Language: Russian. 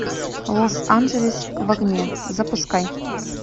лос анджелес в огне запускай